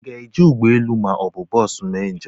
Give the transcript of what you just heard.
Ị ga-eji ụgbọ elu ma ọ bụ bọsu mee njem?